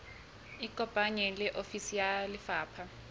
ikopanye le ofisi ya lefapha